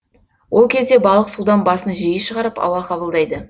ол кезде балық судан басын жиі шығарып ауа қабылдайды